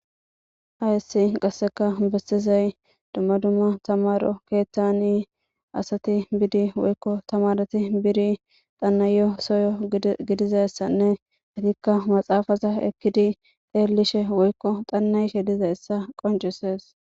Hayissi qasseka bessizay dumma dumma tamaro keeththani asati bidi woykko tamarati biri xannayyo soyo gidizayssanne atikka maxaafaza ekkidi deellishe woykko xannayshe dizayssa qoncisees.